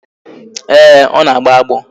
Ee, ọ na-agbo agbọ